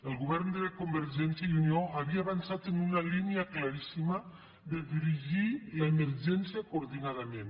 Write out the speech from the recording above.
el govern de convergència i unió havia avançat en una línia claríssima de dirigir l’emergència coordinadament